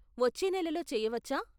వచ్చే నెలలో చేయవచ్చా.